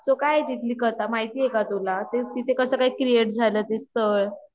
so काये ती कथा माहिती हे का तुला तिथे कसं काय क्रिएट झाले ते स्थळ